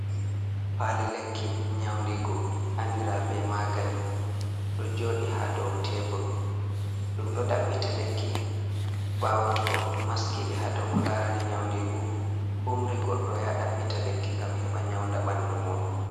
pali lekki nyaundigu andira be magani do jodi ha dow tebru dum do dabbita lekki bawo to maskibe ha doko larani nyaundigu umri goddo ya dabbita lekki ngam heba nyaunda bandu mudum